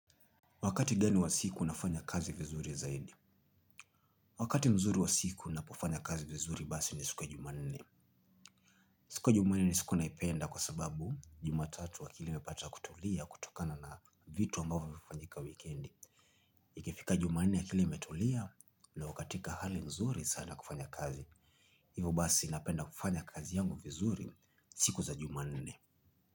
Wakati gani wa siku unafanya kazi vizuri zaidi? Wakati mzuri wa siku napofanya kazi vizuri basi ni siku ya jumanne. Siku ya jumanne ni siku naipenda kwa sababu jumatatu akili imepata kutulia kutokana na vitu ambavyo vimefanyika wikendi. Ikifika jumanne akili imetulia na iko katika hali mzuri sana kufanya kazi. Hivyo basi napenda kufanya kazi yangu vizuri siku za jumanne.